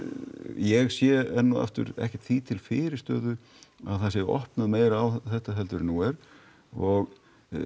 ég sé enn og aftur ekkert því til fyrirstöðu að það sé opnuð meira á þetta heldur en nú er og